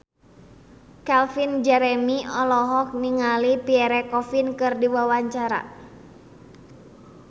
Calvin Jeremy olohok ningali Pierre Coffin keur diwawancara